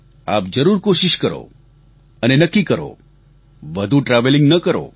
આપ જરૂર કોશીશ કરો અને નક્કી કરો વધુ ટ્રાવેલિંગ ન કરો